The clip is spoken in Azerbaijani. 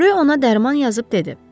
Ryo ona dərman yazıb dedi.